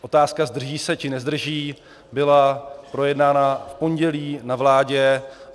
Otázka "zdrží se, či nezdrží" byla projednána v pondělí na vládě.